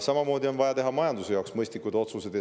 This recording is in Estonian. Samamoodi on vaja teha majanduse jaoks mõistlikke otsuseid.